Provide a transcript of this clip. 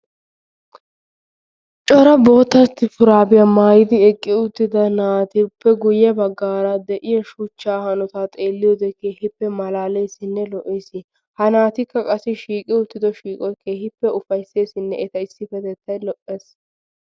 Cora boitta shuraabiya maayid eqqi uttida naatuppe guyye baggaara de7iya shuchchaa hanotaa xeelliyoode keehipp malaaleesinne lo7ees ha naatikka shiiqi uttido shiiqoyi kerhippe ufayisseesinne eta issippetettayi lo7ees.